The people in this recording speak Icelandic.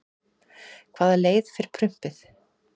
hvaða leið fer prumpið